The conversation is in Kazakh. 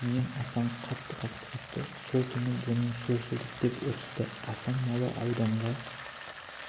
мен асан қатты қақтығысты сол түні бұның солшылдық деп ұрысты асан малы ауданға